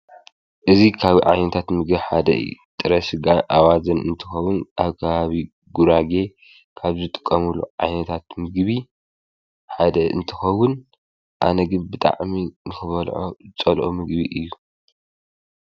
እዙ ኻብ ዓይንታት ምግኅ ሓደ ኢ ጥረስጋር ኣዋዘን እንትኸዉን ኣብ ካሃቢ ጕራጌ ካብ ዝጥቀምሉ ዓይንታት ምግቢ ሓደ እንትኸዉን ኣነግብጣዕሚ ንኽበልዖ ጸልኦ ምግቢ እዩ።